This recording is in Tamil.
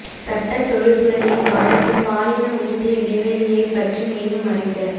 சட்ட தொழில்துறையை பாதிக்கும் பாலின ஊதிய இடைவெளியைப் பற்றி மேலும் அறிக